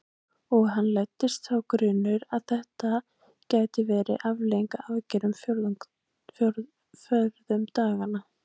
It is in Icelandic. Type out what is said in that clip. Og að henni læddist sá grunur að þetta gæti verið afleiðing af aðgerðinni forðum daga.